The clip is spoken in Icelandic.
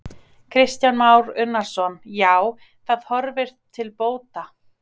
Kristján Már Unnarsson: Já, það horfir til bóta?